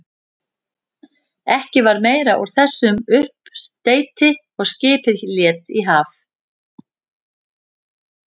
Ekki varð meira úr þessum uppsteyti og skipið lét í haf.